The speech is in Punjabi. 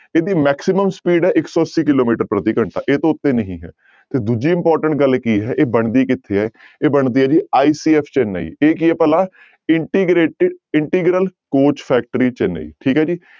ਇਹਦੀ maximum speed ਹੈ ਇੱਕ ਸੌ ਅੱਸੀ ਕਿੱਲੋਮੀਟਰ ਪ੍ਰਤੀ ਘੰਟਾ ਇਹ ਤੋਂ ਉੱਤੇ ਨਹੀਂ ਹੈ ਤੇ ਦੂਜੀ important ਗੱਲ ਕੀ ਹੈ ਇਹ ਬਣਦੀ ਕਿੱਥੇ ਹੈ ਇਹ ਬਣਦੀ ਹੈ ਜੀ ICF ਚੇਨੰਈ ਇਹ ਕੀ ਹੈ ਭਲਾ integrate integral coach factory Chennai ਠੀਕ ਹੈ ਜੀ।